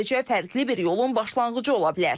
Sadəcə fərqli bir yolun başlanğıcı ola bilər.